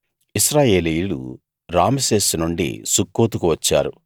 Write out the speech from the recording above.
ఇశ్రాయేలీయులు రామెసేసు నుండి సుక్కోతుకు వచ్చారు